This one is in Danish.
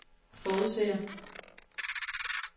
forudser